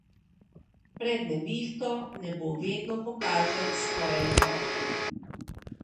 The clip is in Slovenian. Pred nevihto nebo vedno pokaže svoje lepote.